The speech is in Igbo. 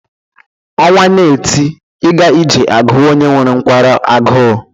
Ọnwa na-eti ịga ije agụwa onye nwere nkwarụ agụụ.